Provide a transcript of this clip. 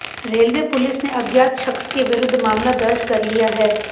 railway police ने अज्ञात शख्स के विरुद्ध मामला दर्ज कर लिया है